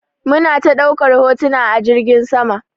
Muna ta ɗaukar hotuna a jirgin saman.